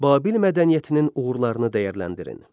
Babil mədəniyyətinin uğurlarını dəyərləndirin.